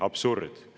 Absurd!